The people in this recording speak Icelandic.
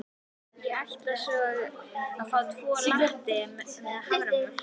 Ég ætla að fá tvo latte með haframjólk.